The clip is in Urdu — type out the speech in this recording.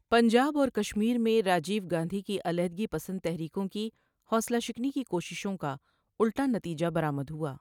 پنجاب اور کشمیر میں راجیو گاندھی کی علیحدگی پسند تحریکوں کی حوصلہ شکنی کی کوششوں کا الٹا نتیجہ برآمد ہوا۔